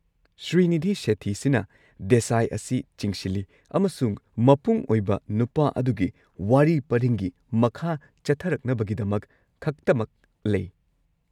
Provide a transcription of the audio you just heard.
ꯁ꯭ꯔꯤꯅꯤꯙꯤ ꯁꯦꯊꯤꯁꯤꯅ ꯔꯤꯅꯥ ꯗꯦꯁꯥꯏ ꯑꯁꯤ ꯆꯤꯡꯁꯤꯜꯂꯤ ꯑꯃꯁꯨꯡ ꯃꯄꯨꯡ ꯑꯣꯏꯕ ꯅꯨꯄꯥ ꯑꯗꯨꯒꯤ ꯋꯥꯔꯤ ꯄꯔꯤꯡꯒꯤ ꯃꯈꯥ-ꯆꯠꯊꯔꯛꯅꯕꯒꯤꯗꯃꯛ ꯈꯛꯇꯃꯛ ꯂꯩ꯫